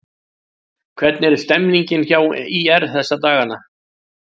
Hvernig er stemmningin hjá ÍR þessa dagana?